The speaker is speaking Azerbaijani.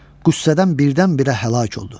Qüssədən birdən-birə həlak oldu.